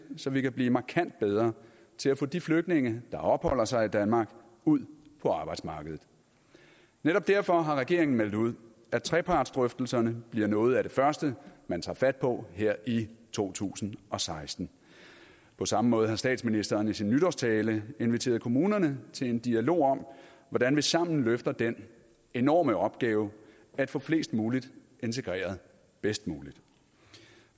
så vi kan blive markant bedre til at få de flygtninge der opholder sig i danmark ud på arbejdsmarkedet netop derfor har regeringen meldt ud at trepartsdrøftelserne bliver noget af det første man tager fat på her i to tusind og seksten på samme måde har statsministeren i sin nytårstale inviteret kommunerne til en dialog om hvordan vi sammen løfter den enorme opgave at få flest muligt integreret bedst muligt